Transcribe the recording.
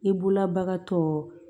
I bolola bagatɔ